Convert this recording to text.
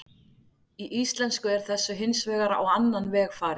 Í íslensku er þessu hins vegar á annan veg farið.